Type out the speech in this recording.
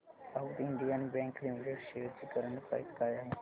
south Indian Bank Limited shares ची current price काय आहे